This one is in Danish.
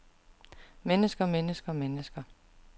mennesker mennesker mennesker